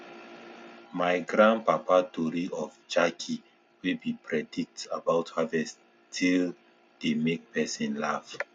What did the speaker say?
my grandpapa tori of jackey wey be predict about harvest still dey make person laff